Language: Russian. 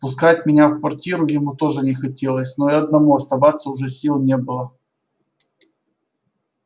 впускать меня в квартиру ему тоже не хотелось но и одному оставаться уже сил не было